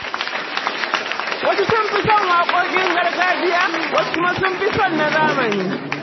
Wasu sun fi son waƙoƙin gargajiya, wasu kuma sun fi son na zamani.